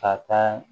Ka taa